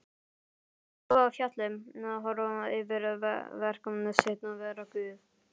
Klífa fjallið, horfa yfir verk sitt, vera Guð.